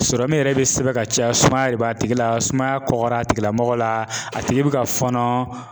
yɛrɛ be sɛbɛn ka caya sumaya de b'a tigi la ,sumaya kɔkɔla a tigilamɔgɔ la, a tigi be ka fɔɔnɔ.